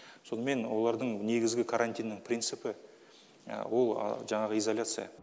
сонымен олардың негізгі карантиннің принципі ол жаңағы изоляция